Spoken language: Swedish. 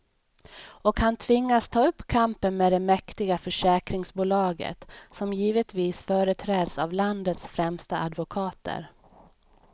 Och han tvingas ta upp kampen med det mäktiga försäkringsbolaget, som givetvis företräds av landets främsta advokater.